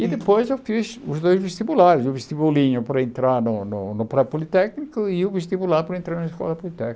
E depois eu fiz os dois vestibulares, o vestibulinho para entrar no no pré-politécnico e o vestibular para entrar na escola politécnica.